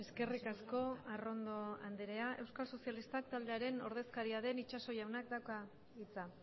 eskerrik asko arrondo andrea euskal sozialistak taldearen ordezkaria den itxaso jaunak dauka hitza